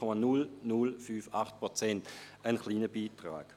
Diese 0,0058 Prozent sind ein kleiner Beitrag.